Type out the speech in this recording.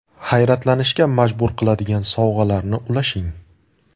Hayratlanishga majbur qiladigan sovg‘alarni ulashing.